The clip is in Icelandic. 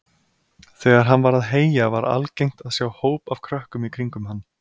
Þegar hann var að heyja var algengt að sjá hóp af krökkum í kringum hann.